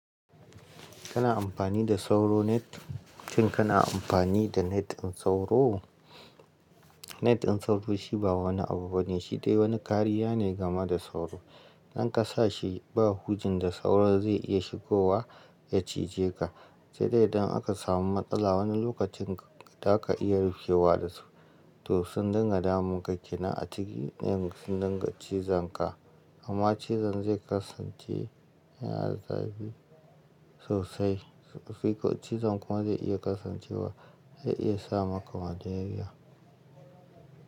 Kana amfani da sauro net? Shin kana amfani da net sauro? Net sauro shi ba wani abu bane, shi dai wani kariya ne game da sauro. In ka sa shi ba hujin da sauro zai iya shigowa ya cije ka. Sai dai idan aka samu matsala wani lokacin da ka iya rufewa da su to sun dinga damun ka, kena a ciki, sun dinga cizon ka. Amma cizon zai kasance yana da zafi sosai. Cizon kuma zai iya kasancewa zai iya sa maka malaria.